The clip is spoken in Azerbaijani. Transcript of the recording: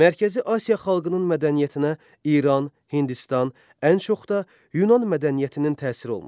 Mərkəzi Asiya xalqının mədəniyyətinə İran, Hindistan, ən çox da Yunan mədəniyyətinin təsiri olmuşdur.